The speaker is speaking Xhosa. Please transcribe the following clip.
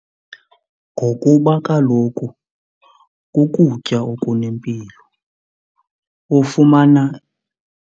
Ngokuba kaloku kukutya okunempilo, ufumana.